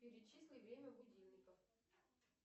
перечисли время будильников